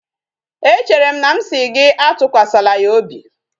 E chere m na m asi gi atukwasala ya obi?